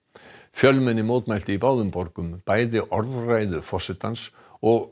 fjölmenni mótmælti í báðum borgum bæði orðræðu forsetans og